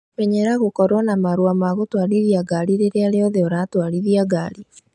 Menyera gũkorwo na marũa ma gũtwarithia ngari rĩrĩa rĩothe ũratwarithia ngari